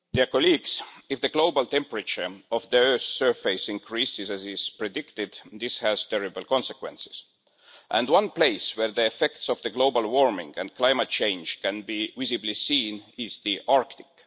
Madam President, if the global temperature of the earth's surface increases as is predicted, this has terrible consequences, and one place where the effects of global warming and climate change can be visibly seen is the Arctic.